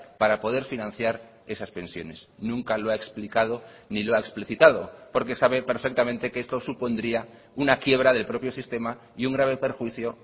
para poder financiar esas pensiones nunca lo ha explicado ni lo ha explicitado porque sabe perfectamente que esto supondría una quiebra del propio sistema y un grave perjuicio